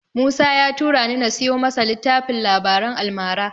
Musa ya turani na siyo masa littafin labaran almara.